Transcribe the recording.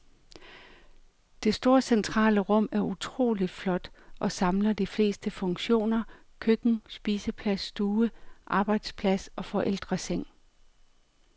Det store centrale rum er utrolig flot og samler de fleste funktioner, køkken, spiseplads, stue, arbejdsplads og forældreseng.